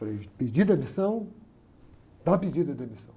Falei, pediu demissão, está pedida a demissão.